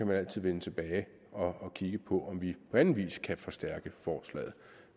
man altid vende tilbage og kigge på om vi på anden vis kan forstærke forslaget